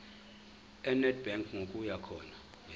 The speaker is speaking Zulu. enedbank ngokuya khona